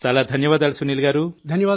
చాలా ధన్యవాదాలు సునీల్ గారూ